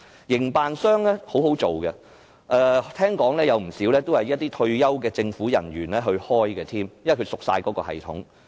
營辦商是很好做的，聽說不少也是由退休政府人員經營，因為他們很熟悉相關系統。